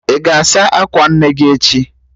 Ị ga-asa akwa nne gị echi?